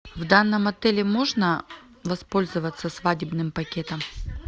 в данном отеле можно воспользоваться свадебным пакетом